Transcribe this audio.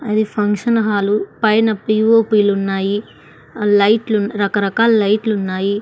అది function hall పైన P O P లున్నాయి లైట్లు రకరకాల లైట్లున్నాయి .